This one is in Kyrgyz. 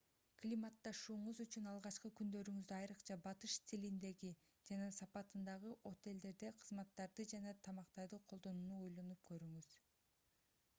климатташууңуз үчүн алгачкы күндөрүңүздө айрыкча батыш стилиндеги жана сапатындагы отелдерди кызматтарды жана тамактарды колдонууну ойлонуп көрүңүз